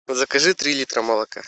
закажи три литра молока